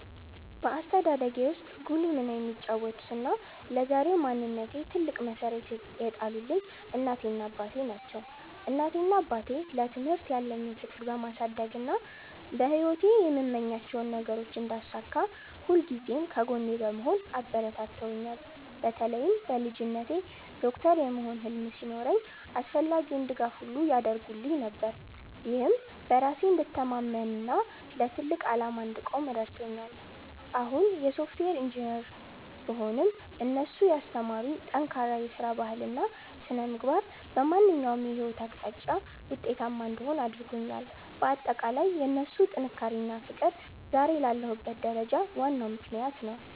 በአስተዳደጌ ውስጥ ጉልህ ሚና የተጫወቱትና ለዛሬው ማንነቴ ትልቅ መሠረት የጣሉልኝ እናቴና አባቴ ናቸው። እናቴና አባቴ ለትምህርት ያለኝን ፍቅር በማሳደግና በሕይወቴ የምመኛቸውን ነገሮች እንዳሳካ ሁልጊዜም ከጎኔ በመሆን አበረታትተውኛል። በተለይም በልጅነቴ ዶክተር የመሆን ህልም ሲኖረኝ አስፈላጊውን ድጋፍ ሁሉ ያደርጉልኝ ነበር፤ ይህም በራሴ እንድተማመንና ለትልቅ ዓላማ እንድቆም ረድቶኛል። አሁን የሶፍትዌር ኢንጂነር ብሆንም፣ እነሱ ያስተማሩኝ ጠንካራ የሥራ ባህልና ሥነ-ምግባር በማንኛውም የሕይወት አቅጣጫ ውጤታማ እንድሆን አድርጎኛል። ባጠቃላይ የእነሱ ጥንካሬና ፍቅር ዛሬ ላለሁበት ደረጃ ዋናው ምክንያት ነው።